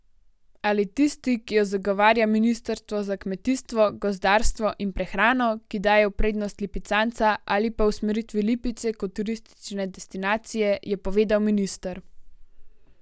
Ali tisti, ki jo zagovarja ministrstvo za kmetijstvo, gozdarstvo in prehrano, ki daje v prednost lipicanca, ali pa usmeritvi Lipice kot turistične destinacije, je povedal minister.